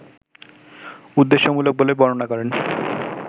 উদ্দেশ্যমূলক বলে বর্ণনা করেন